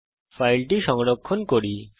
এখন ফাইলটি সংরক্ষণ করি